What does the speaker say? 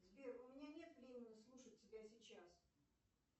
сбер у меня нет времени слушать тебя сейчас